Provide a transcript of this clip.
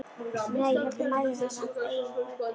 Né heldur mælir hann af eigin hvötum.